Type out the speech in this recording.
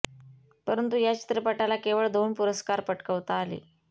परंतु या चित्रपटाला केवळ दोन पुरस्कार पटकावता आले